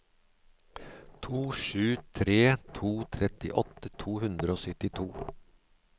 to sju tre to trettiåtte to hundre og syttito